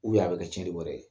a be kɛ tiɲɛli wɛrɛ ye.